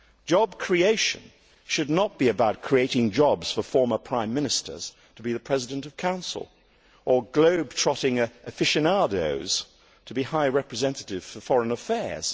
Job creation should not be about creating jobs for former Prime Ministers to be President of the Council, or for globetrotting aficionados to be High Representatives for Foreign Affairs.